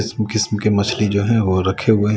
किस्म किस्म के मछली जो है वो रखे हुए--